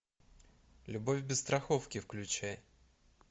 любовь без страховки включай